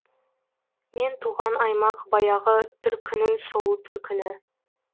мен туған аймақ баяғы түркінің сұлу төркіні